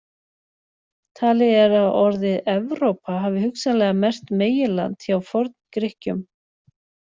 Talið er að orðið Evrópa hafi hugsanlega merkt meginland hjá Forn-Grikkjum.